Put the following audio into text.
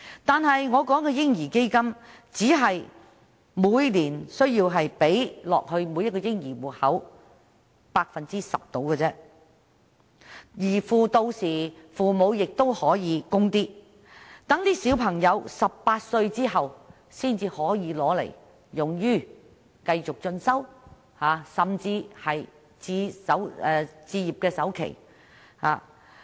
在我建議的"嬰兒基金"下，每年只需將上述金額約十分之一存入每個嬰兒戶口，父母也可以再作供款，待小孩子18歲後可將款項用作繼續進修，甚至是置業的首期。